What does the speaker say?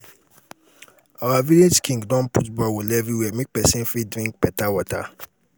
our village king don put borehole everywhere make pesin for drink beta water.